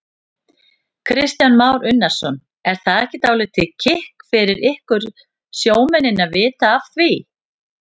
Kristján Már Unnarsson: Er það ekki dálítið kikk fyrir ykkur sjómennina að vita af því?